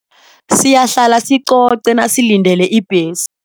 Siyahlala sicoce nasilindele ibhesi.